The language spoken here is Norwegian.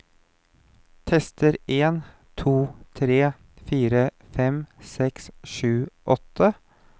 Tester en to tre fire fem seks sju åtte